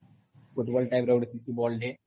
football type ର ଗୁଟେ ଥିସି ବଲ୍ ଟେ